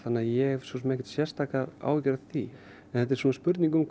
ég hef ekki sérstakar áhyggjur af því en þetta er spurning um